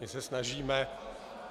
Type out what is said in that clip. My se snažíme...